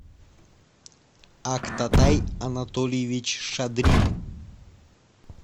актатай анатольевич шадрин